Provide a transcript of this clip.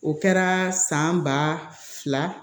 O kɛra san ba fila